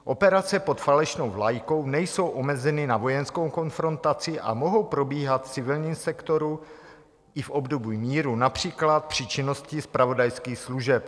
Operace pod falešnou vlajkou nejsou omezeny na vojenskou konfrontaci a mohou probíhat v civilním sektoru i v období míru, například při činnosti zpravodajských služeb."